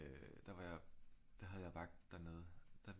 Der var jeg der havde jeg vagt dernede der